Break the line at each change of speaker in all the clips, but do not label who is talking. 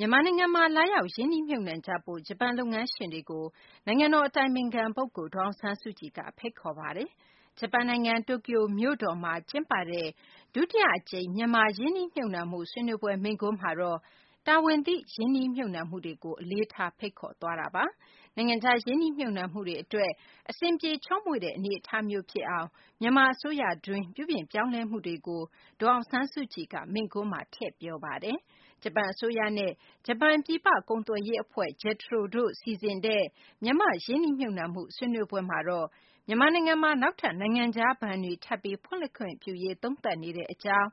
မြန်မာနိုင်ငံမှာ လာရောက် ရင်းနှီးမြှုပ်နှံကြဖို့ ဂျပန် လုပ်ငန်းရှင်တွေကို နိုင်ငံတော် အတိုင်ပင်ခံ ပုဂ္ဂိုလ် ဒေါ်အောင်ဆန်းစုကြည်က ဖိတ်ခေါ်ပါတယ်။ ဂျပန်နိုင်ငံ တိုကျိုမြို့တော်မှာ ကျင်းပတဲ့ ဒုတိယ အကြိမ် မြန်မာ ရင်းနှီးမြှုပ်နှံမှု ဆွေးနွေးပွဲ မိန့်ခွန်းမှာတော့ တာဝန်သိ ရင်းနှီးမြှုပ်နှံမှုတွေကို အလေးထား ဖိတ်ခေါ် သွားတာပါ။ နိုင်ငံခြား ရင်းနှီးမြှုပ်နှံမှုတွေ အတွက် အဆင်ပြေ ချောမွေ့တဲ့ အနေအထားမျိုး ဖြစ်အောင် မြန်မာ အစိုးရတွင်း ပြုပြင်ပြောင်းလဲမှုတွေကိုလည်း ဒေါ်အောင်ဆန်းစုကြည်က မိန့်ခွန်းမှာ ထည့်သွင်း ပြောဆိုပါတယ်။ ဂျပန် အစိုးရနဲ့ ဂျပန် ပြည်ပ ကုန်သွယ်ရေး အဖွဲ့ JETRO တို့ စီစဉ်တဲ့ မြန်မာ့ ရင်းနှီးမြှုပ်နှံမှု ဆွေးနွေးပွဲမှာတော့ မြန်မာနိုင်ငံမှာ နောက်ထပ် နိုင်ငံခြား ဘဏ်တွေ ထပ်ပြီး ဖွင့်လှစ်ခွင့်ပြုရေး သုံးသပ်နေတဲ့ အကြောင်း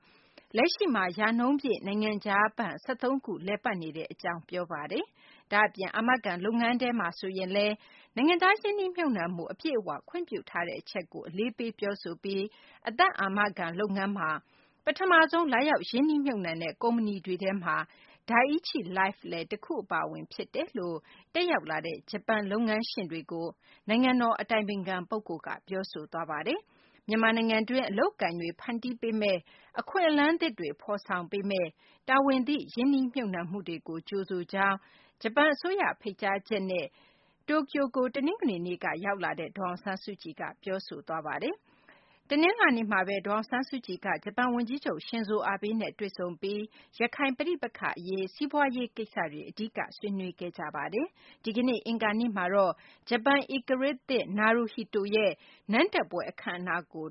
၊ လက်ရှိမှာ ရာနှုန်းပြည့် နိုင်ငံခြားဘဏ် ၁၃ ခု လည်ပတ်နေကြောင်း ဒေါ်အောင်ဆန်းစုကြည်က ပြောပါတယ်။ ဒါ့အပြင် အာမခံ လုပ်ငန်းထဲမှာဆိုရင်လည်း နိုင်ငံခြား ရင်းနှီးမြှုပ်နှံမှု အပြည့်အ၀ ခွင့်ပြုထားတဲ့ အချက်ကို အလေးပေး ပြောဆိုသွားပါတယ်။ မြန်မာ့ အသက်အာမခံ လုပ်ငန်းမှာ ပထမဆုံး လာရောက် ရင်းနှီးမြှုပ်နှံတဲ့ ကုမ္ပဏီတွေထဲမှာ Dai-ichi Life လည်း တခု အပါအဝင် ဖြစ်တယ်လို့ တက်ရောက်လာတဲ့ ဂျပန် လုပ်ငန်းရှင်တွေကို ပြောဆိုသွားပါတယ်။ မြန်မာနိုင်ငံတွင်း အလုပ်အကိုင်တွေ ဖန်တီးပေမးမယ့်၊ အခွင့်အလမ်းသစ်တွေ ဖော်ဆောင်ပေးမယ့် တာဝန်သိ ရင်းနှီးမြှုပ်နှံမှုတွေကို ကြိုဆိုကြောင်းလည်း ဒေါ်အောင်ဆန်းစုကြည်က ပြောဆိုသွားပါတယ်။ ဂျပန် အစိုးရ ဖိတ်ကြားချက်နဲ့ တနင်္ဂနွေနေ့က တိုကျိုကို ရောက်ရှိလာတဲ့ ဒေါ်အောင်ဆန်းစုကြည်က ဂျပန် ဝန်ကြီးချုပ် Shinzo Abe နဲ့ တနလာၤနေ့မှာ တွေ့ဆုံပြီး ရခိုင် ပဋိပက္ခ အရေး၊ စီးပွားရေးကိစ္စတွေ အဓိက ဆွေးနွေးခဲ့ကြပါတယ်။ ဒီကနေ့ အင်္ဂါနေ့မှာတော့ ဂျပန် ဧကရာဇ်သစ် Naruhito ရဲ့ အင်္ဂါနေ့ နန်းတက်ပွဲ အခမ်းအနားကို